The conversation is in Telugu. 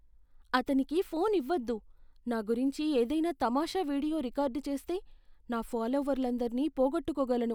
అతనికి ఫోన్ ఇవ్వొద్దు. నా గురించి ఏదైనా తమాషా వీడియో రికార్డ్ చేస్తే, నా ఫాలోవర్లందరినీ పోగొట్టుకోగలను.